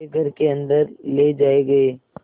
वे घर के अन्दर ले जाए गए